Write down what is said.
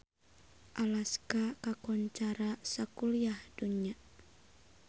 Alaska kakoncara sakuliah dunya